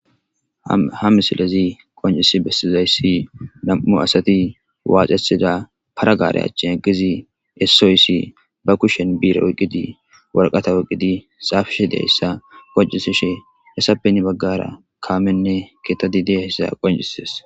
Ha misilazi qoncisi bessizayssi nam'u asati waacesida paragaare achchin eggizi essoyssi ba kushen biire woqqidi warqata wqqidi xaafishe dayssa wacisishe esapeni baggara kaamenne kettadi deyayssa qoncises